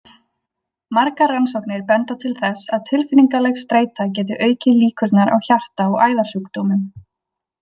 Margar rannsóknir benda til þess að tilfinningaleg streita geti aukið líkurnar á hjarta- og æðasjúkdómum.